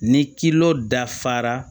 Ni dafara